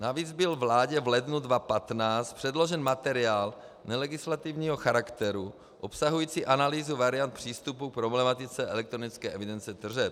Navíc byl vládě v lednu 2015 předložen materiál nelegislativního charakteru obsahující analýzu variant přístupu k problematice elektronické evidence tržeb.